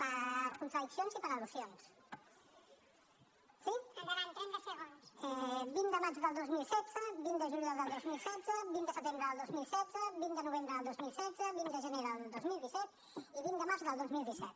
per contradiccions i per al·lusions sí vint de maig del dos mil setze vint de juliol del dos mil setze vint de setembre del dos mil setze vint de novembre del dos mil setze vint de gener del dos mil disset i vint de març del dos mil disset